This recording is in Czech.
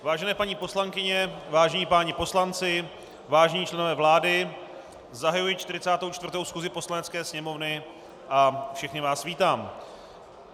Vážené paní poslankyně, vážení páni poslanci, vážení členové vlády, zahajuji 44. schůzi Poslanecké sněmovny a všechny vás vítám.